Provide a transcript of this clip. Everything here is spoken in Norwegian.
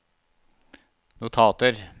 notater